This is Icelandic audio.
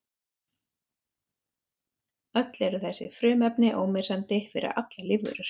Öll eru þessi frumefni ómissandi fyrir allar lífverur.